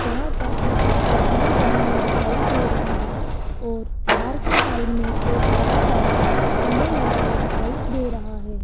जहां पर कुछ छतरियां बनी हुई दिखाई दे रही है और कार की साइड मे एक बड़ा सा पिलर लगा हुआ दिखाई दे रहा है।